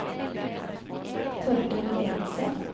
Torkel Evensen